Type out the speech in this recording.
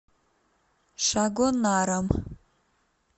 шагонаром